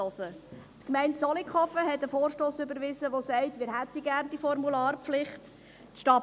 Die Gemeinde Zollikofen hat einen Vorstoss ( überwiesen, welcher diese Formularpflicht will.